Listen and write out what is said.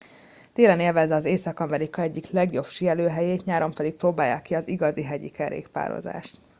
télen élvezze észak amerika egyik legjobb síelőhelyét nyáron pedig próbálja ki az igazi hegyi kerékpározást